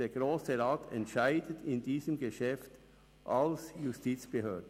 Der Grosse Rat entscheidet in diesem Geschäft als Justizbehörde.